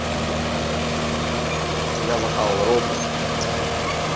понятно все с вами я захавал роллтон